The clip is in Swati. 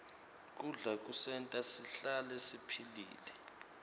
kudla kusenta sihlale siphilile